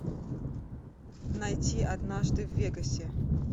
найти однажды в вегасе